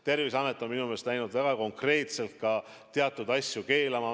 Terviseamet on minu meelest läinud väga konkreetselt ka teatud asju keelama.